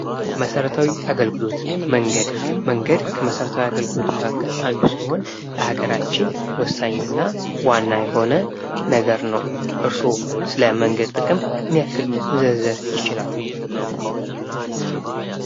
መሰረታዊ አገልግሎት፦ መንገድ፦ መንገድ ከመሠረታዊ አገልግሎት ውስጥ አንዱ ሲሆን ለሃገራችን ወሳኝ እና ዋና የሆነ ነገር ነው። እርስዎ ስለመንገድ ጥቅም ምን ያክል መዘርዘር ይችላሉ?